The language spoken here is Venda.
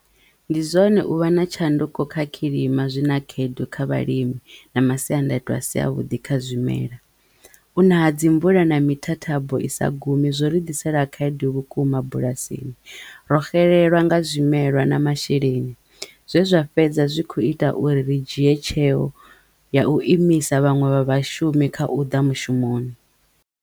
Ndi zwone u vha na tshanduko kha khilima zwi na khaedu kha vhalimi na masiandaitwa a si a vhuḓi kha zwimela hu na dzi mvula na mithathabo i sa gumi zwo ri ḓisela khaedu vhukuma bulasini. Ro xelelwa nga zwimelwa na masheleni zwe zwa fhedza zwi kho ita uri ri dzhie tsheo ya u imisa vhaṅwe vha vhashumi kha u ḓa mushumoni.